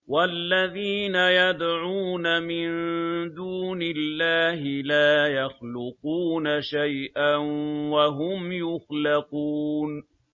وَالَّذِينَ يَدْعُونَ مِن دُونِ اللَّهِ لَا يَخْلُقُونَ شَيْئًا وَهُمْ يُخْلَقُونَ